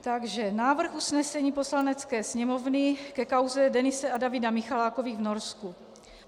Takže návrh usnesení Poslanecké sněmovny ke kauze Denise a Davida Michalákových v Norsku.